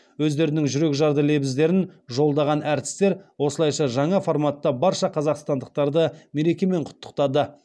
өздерінің жүрекжарды лебіздерін жолдаған әртістер осылайша жаңа форматта барша қазақстандықтарды мерекемен құттықтады